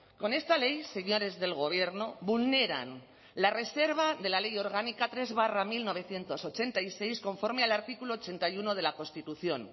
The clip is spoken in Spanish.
con esta ley señores del gobierno vulneran la reserva de la ley orgánica tres barra mil novecientos ochenta y seis conforme al artículo ochenta y uno de la constitución